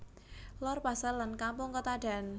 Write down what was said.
Lor Pasar lan Kampung Ketadan